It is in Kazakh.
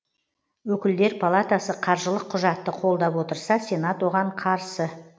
өкілдер палатасы қаржылық құжатты қолдап отырса сенат оған қарсы